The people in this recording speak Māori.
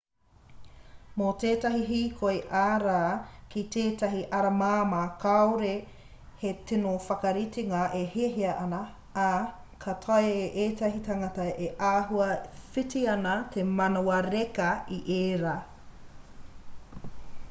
mō tētahi hīkoi ā-rā ki tētahi ara māmā kāore he tino whakaritenga e hiahiatia ana ā ka taea e tētahi tangata e āhua whiti ana te manawa reka i ērā